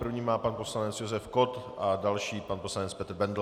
První má pan poslanec Josef Kott a další pan poslanec Petr Bendl.